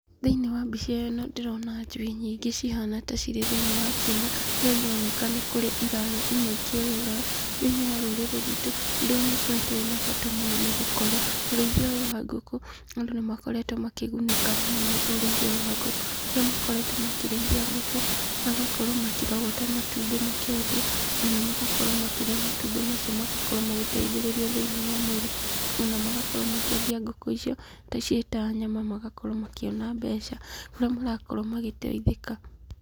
Thĩiniĩ wa mbica ĩno , ndĩrona njui nyingĩ cihana ta irĩ thĩiniĩ wa kĩaga, kũrĩa ironekana nĩ kũrĩa irarĩa imwe ikĩũrũraga, thĩiniĩ wa rũrĩrĩ rwitũ ũndũ ũyũ nĩ ũkoretwo wĩna bata mũno , nĩgũkorwo ũrĩithia ũyũ wa ngũkũ andũ nĩmakoretwo makĩgunĩka mũno na ũrĩithia wa ngũkũ kũrĩa makoretwo makĩrĩithia ngũkũ magakorwo makĩrogota matumbĩ makendia, ona magakorwo makĩrĩa matumbĩ macio magakorwo magĩteithĩrĩria thĩiniĩ wa mwĩrĩ, ona magakorwo makĩendia ngũkũ icio ciĩ ta nyama magakorwo makiona mbeca, kũrĩa marakorwo magĩteithĩka.